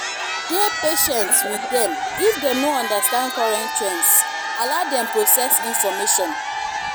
dey patient with dem if dem no understand current trends allow dem process information